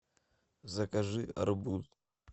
закажи арбуз